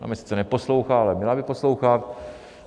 Ona mě sice neposlouchá, ale měla by poslouchat.